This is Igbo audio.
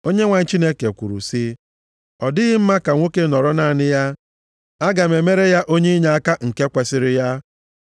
Onyenwe anyị Chineke kwuru sị, “Ọ dịghị mma ka nwoke nọrọ naanị ya. Aga m emere ya onye inyeaka nke kwesiri ya.”